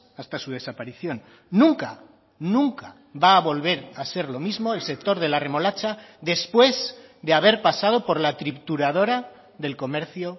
hasta su desaparición nunca nunca va a volver a ser lo mismo el sector de la remolacha después de haber pasado por la trituradora del comercio